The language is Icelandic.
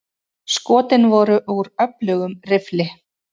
Skotin voru úr öflugum riffli.